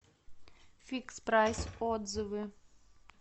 фикс прайс отзывы